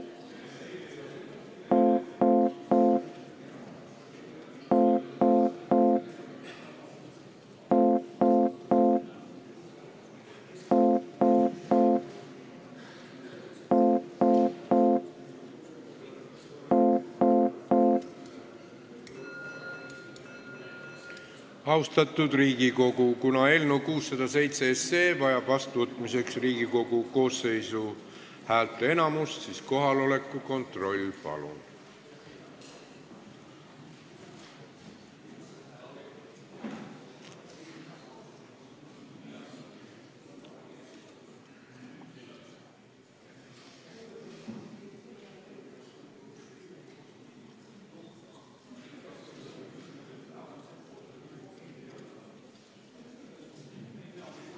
Austatud Riigikogu, kuna eelnõu 607 vajab vastuvõtmiseks Riigikogu koosseisu häälteenamust, siis kohaloleku kontroll, palun!